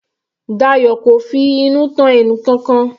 Dayo kò finú tán ẹnìkankan.